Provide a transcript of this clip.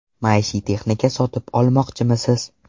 Maishiy texnika sotib olmoqchimisiz?